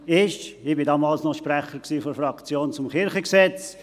Ich war damals noch Sprecher der Fraktion zum KG.